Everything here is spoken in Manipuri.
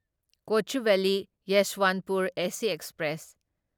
Kochuveli Yeshwantpur AC express